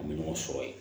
An bɛ ɲɔgɔn sɔrɔ yen